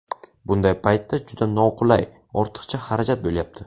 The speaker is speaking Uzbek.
Bunday paytda juda noqulay, ortiqcha xarajat bo‘lyapti.